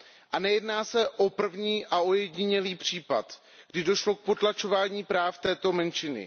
A nejedná se o první a ojedinělý případ, kdy došlo k potlačování práv této menšiny.